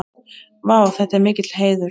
Vá, þetta er mikill heiður.